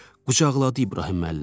Qucaqladı İbrahim müəllimi.